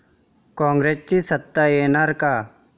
कॉंग्रेसची सत्ता येणार का?